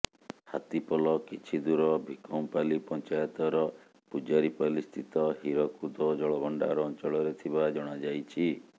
ହାତୀପଲ କିଛିଦୂର ଭିକମପାଲି ପଞ୍ଚାୟତର ପୂଜାରିପାଲିସ୍ଥିତ ହୀରକୁଦ ଜଳଭଣ୍ଡାର ଅଞ୍ଚଳରେ ଥିବା ଜଣାଯାଇଛି